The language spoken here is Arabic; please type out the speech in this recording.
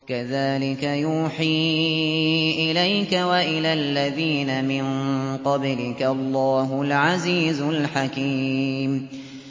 كَذَٰلِكَ يُوحِي إِلَيْكَ وَإِلَى الَّذِينَ مِن قَبْلِكَ اللَّهُ الْعَزِيزُ الْحَكِيمُ